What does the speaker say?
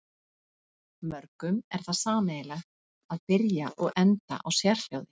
Mörgum er það sameiginlegt að byrja og enda á sérhljóði.